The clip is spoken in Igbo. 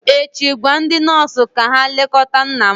echi gwa ndị nọọsụ ka ha lekọta nna m!